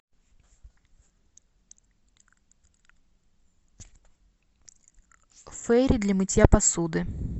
фери для мытья посуды